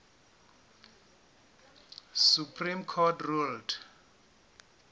supreme court ruled